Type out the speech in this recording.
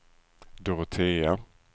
Dorotea